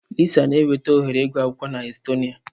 Lisa na enweta ohere ịgụ akwụkwọ na Estonia.